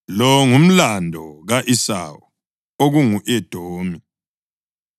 Lo ngumlando ka-Esawu (okungu-Edomi).